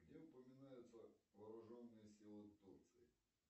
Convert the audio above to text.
где упоминаются вооруженные силы турции